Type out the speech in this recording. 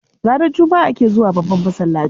Ranar Juma'a ake zuwa babban masallaci.